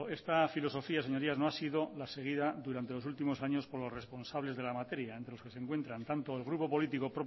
esta filosofía señorías no ha sido la seguida durante los últimos años por los responsables de la materia entre los que se encuentran tanto el grupo político